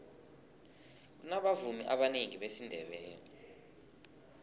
kunabavumi abanengi besindebele